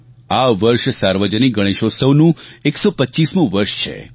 આ વર્ષ સાર્વજનિક ગણેશોત્સવનું 125મું વર્ષ છે